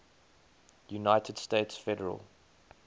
united states federal